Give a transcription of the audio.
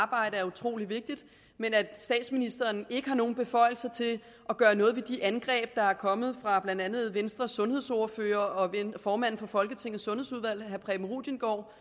arbejde er utrolig vigtigt men at statsministeren ikke har nogen beføjelser til at gøre noget ved de angreb der er kommet fra blandt andet venstres sundhedsordfører og formand for folketingets sundhedsudvalg herre preben rudiengaard